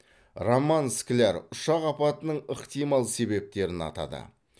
роман скляр ұшақ апатының ықтимал себептерін атады